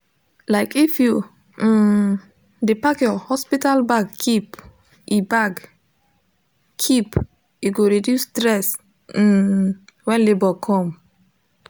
like if u um de pack your hospital bag keep e bag keep e go reduce stress uhm when labor come